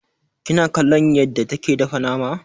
Kina kallon yadda take dafa nama?